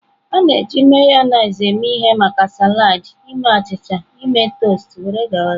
A na-eji Mayonezi eme ihe maka salad, ime achịcha, ime toasts, wdg.